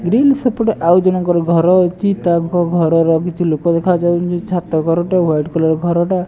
Grill ସେପଟେ ଆଉ ଜଣକ ଘର ଅଛି ତାଙ୍କ ଘରର କିଛି ଲୋକ ଦେଖାଯାଉଛନ୍ତି ଛାତ ଘରଟା ହ୍ୱାଇଟ କଲର ଘରଟା।